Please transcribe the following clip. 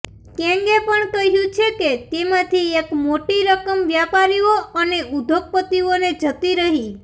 કેગે પણ કહ્યું છે કે તેમાંથી એક મોટી રકમ વ્યાપારીઓ અને ઉદ્યોગપતિઓને જતી રહી